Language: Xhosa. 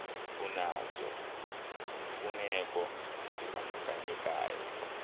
unazo iimfuneko ezibandakanyekayo